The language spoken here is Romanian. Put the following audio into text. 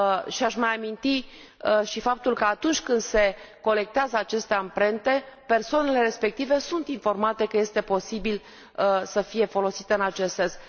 Și aș mai aminti și faptul că, atunci când se colectează aceste amprente, persoanele respective sunt informate că este posibil să fie folosite în acest sens.